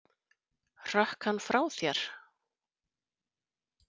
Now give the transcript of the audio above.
Hrökk hann frá þér?